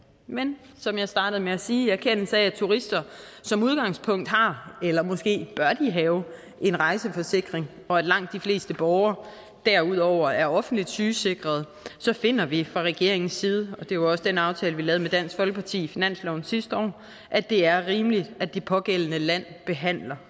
men som jeg startede med at sige i erkendelse af at turister som udgangspunkt har eller måske bør have en rejseforsikring og at langt de fleste borgere derudover er offentligt sygesikrede så finder vi fra regeringens side og det var også den aftale vi lavede med dansk folkeparti i finansloven sidste år at det er rimeligt at det pågældende land behandler